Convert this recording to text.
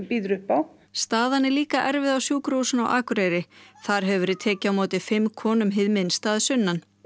býður upp á staða er líka erfið á sjúkrahúsinu á Akureyri þar hefur verið tekið á móti fimm konum hið minnsta að sunnan